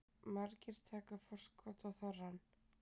Margir taka forskot á þorrann